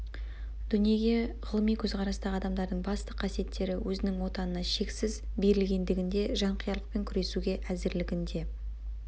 дүниеге ғылыми көзқарастағы адамдардың басты қасиеттері өзінің отанына шексіз берілгендігінде жанқиярлықпен күресуге әзірлігінде